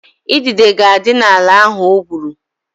Idide ga-adị n'ala ahụ o gwuru